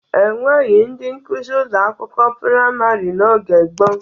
E nweghi ndị nkuzi ụlọ akwụkwọ praịmarị n'oge gboo.